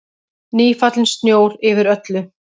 Nýfallinn snjór yfir öllu.